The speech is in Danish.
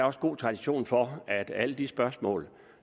også god tradition for at alle de spørgsmål